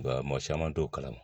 Mɔgɔ caman t'o kalama